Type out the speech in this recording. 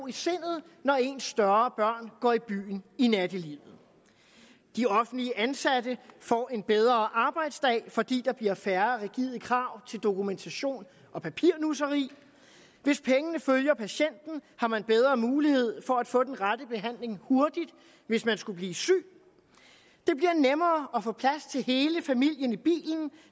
i sindet når ens større børn går i byen i nattelivet de offentligt ansatte får en bedre arbejdsdag fordi der bliver færre rigide krav til dokumentation og papirnusseri hvis pengene følger patienten har man bedre mulighed for at få den rette behandling hurtigt hvis man skulle blive syg det bliver nemmere at få plads til hele familien i bilen